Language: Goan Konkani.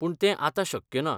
पूण तें आतां शक्य ना.